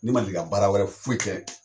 Ne ma deli ka baara wɛrɛ foyi kɛ